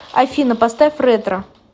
афина поставь ретро